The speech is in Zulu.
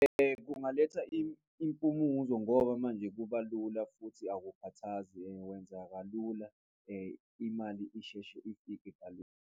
Kungaletha impumuzo ngoba manje kuba lula futhi akukhathazi wenza kalula imali isheshe ifike .